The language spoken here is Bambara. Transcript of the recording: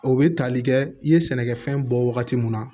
O bɛ tali kɛ i ye sɛnɛkɛfɛn bɔ wagati mun na